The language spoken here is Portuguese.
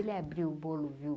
Ele abriu o bolo, viu?